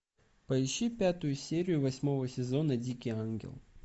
поищи пятую серию восьмого сезона дикий ангел